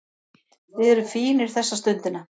Við erum fínir þessa stundina